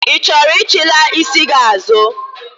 Ị chọrọ ichilaa isi gị azụ?